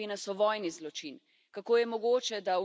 Judovske naselbine so vojni zločin!